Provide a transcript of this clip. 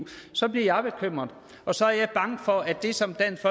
så bliver jeg bekymret og så er jeg bange for at det som dansk